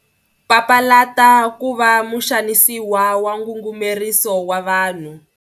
Papalata ku va muxanisiwa wa ngungumeriso wa vanhu.